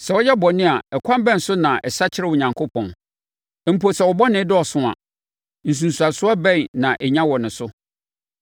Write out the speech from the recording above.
Sɛ woyɛ bɔne a, ɛkwan bɛn so na ɛsakyera Onyankopɔn? Mpo sɛ wo bɔne dɔɔso a, nsunsuansoɔ bɛn na ɛnya wo ne so?